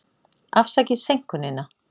Afsakið seinkunina.